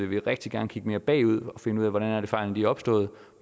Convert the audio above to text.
vi rigtig gerne kigge mere bagud og finde ud af hvordan fejlene er opstået